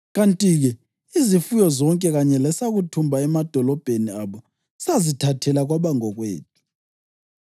Kanti-ke izifuyo zonke kanye lesakuthumba emadolobheni abo sazithathela kwaba ngokwethu.